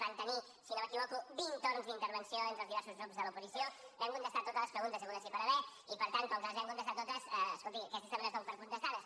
van tenir si no m’equivoco vint torns d’intervenció entre els diversos grups de l’oposició vam contestar totes les preguntes hagudes i per haver hi i per tant com que les vam contestar totes escolti aquestes també les dono per contestades